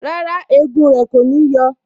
Rárá, egun rẹ kò ní yọ